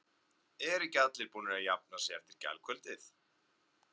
Eru ekki allir búnir að jafna sig eftir gærkvöldið?